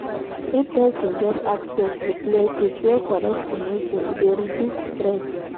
If persin get access to places wey connect to nature e de reduce stress